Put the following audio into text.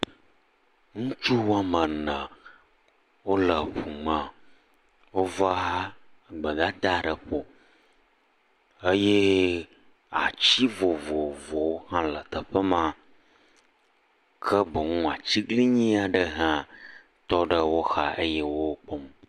Ŋutsu woame ene, wole ŋu me, wova gbedada ɖe ƒo eye ati vovovowo hã le teƒe ma, ke boŋ atiglinyi aɖe hã tɔ ɖe wo xa eye wo kpɔm.